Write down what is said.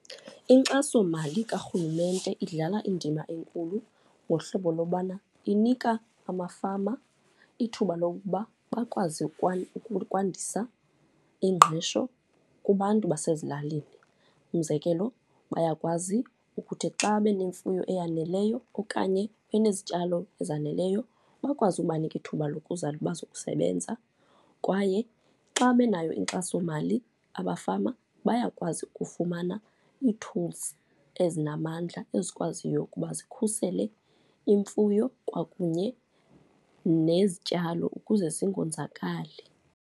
Inkxasomali karhulumente idlala indima enkulu ngohlobo lobana inika amafama ithuba lokuba bakwazi ukwandisa ingqesho kubantu basezilalini. Umzekelo bayakwazi ukuthi xa banemfuyo eyaneleyo okanye benezityalo ezaneleyo, bakwazi ukubanika ithuba lokuza bazokusebenza. Kwaye xa benayo inkxasomali abafama bayakwazi ukufumana ii-tools ezinamandla, ezikwaziyo ukuba zikhusele imfuyo kwakunye nezityalo ukuze zingonzakali.